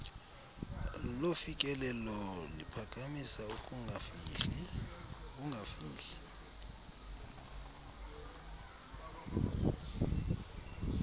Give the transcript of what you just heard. lofikelelo liphakamisa ukungafihli